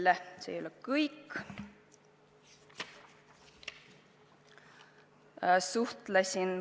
Ja see ei ole kõik.